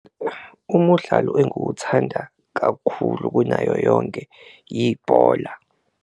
Umudlalo enguwuthanda kakhulu kunayo yonke ibhola.